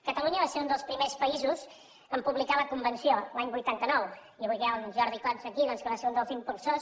catalunya va ser un dels primers països a publicar la convenció l’any vuitanta nou i avui que hi ha en jordi cots aquí doncs que en va ser un dels impulsors